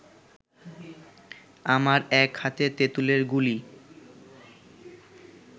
আমার এক হাতে তেঁতুলের গুলি